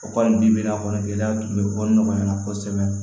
O kɔni bi bi n'a fɔ gɛlɛya tun bɛ ko nɔgɔya kosɛbɛ